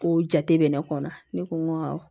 Ko jate bɛ ne kɔnɔ ne ko n ko awɔ